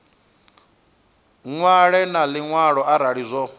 ṅwale na luṅwalo arali zwo